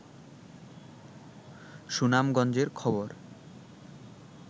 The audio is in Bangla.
সুনামগঞ্জের খবর